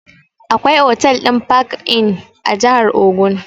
Akwai otal ɗin park-inn a jahar ogun